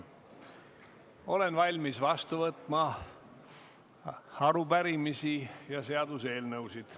Olen valmis vastu võtma arupärimisi ja seaduseelnõusid.